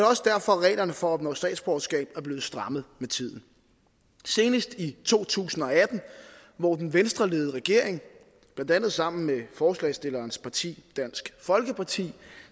også derfor at reglerne for at opnå statsborgerskab er blevet strammet med tiden senest i to tusind og atten hvor den venstreledede regering blandt andet sammen med forslagsstillerens parti dansk folkeparti